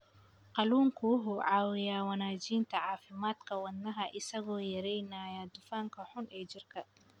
Kalluunku wuxuu caawiyaa wanaajinta caafimaadka wadnaha isagoo yareynaya dufanka xun ee jirka.